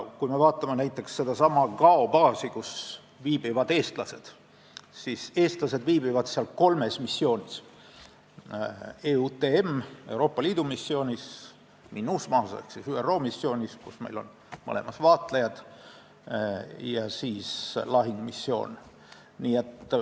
Kui me vaatame näiteks sedasama Gao baasi, kus eestlased viibivad, siis seal on tegu kolme missiooniga: Euroopa Liidu ja ÜRO missiooniga , kus meil on vaatlejad, ning lahingumissiooniga.